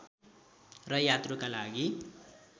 र यात्रुका लागि